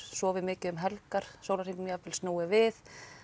sofið mikið um helgar sólarhringnum jafnvel snúið við